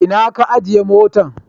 Ina ka ajiye motan?